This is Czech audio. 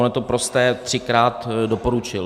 Ono je to prosté, třikrát doporučil.